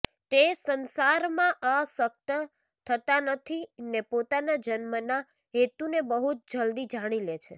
તે સંસારમાં આસક્ત થતા નથી ને પોતાના જન્મના હેતુને બહુ જ જલદી જાણી લે છે